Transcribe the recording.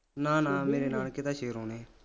ਨਾ ਨਾ ਮੇਰੇ ਨਾਨਕੇ ਤਾਂ ਨੇ